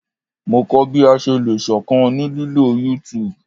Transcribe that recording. Mo kọ bi a ṣe le ṣọkan ni lilo YouTube